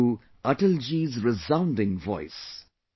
Listen to Atal ji's resounding voice